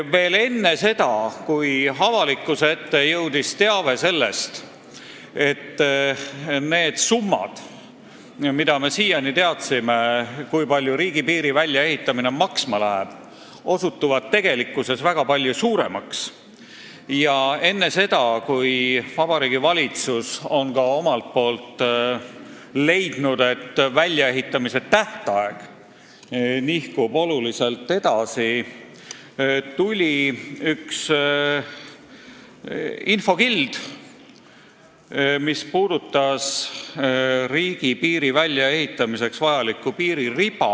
Veel enne seda, kui avalikkuse ette jõudis teave selle kohta, et need summad, mida me siiani arvasime riigipiiri väljaehitamiseks kuluvat, osutuvad tegelikkuses väga palju suuremaks, ning enne seda, kui Vabariigi Valitsus omalt poolt kinnitas, et väljaehitamise tähtaeg nihkub kõvasti edasi, tuli üks infokild, mis puudutas riigipiiri väljaehitamiseks vajalikku piiririba.